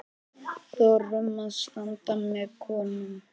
Þorum að standa með konum.